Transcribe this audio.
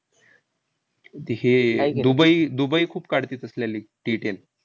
ते हे Dubai Dubai खूप काढते तसल्या league t ten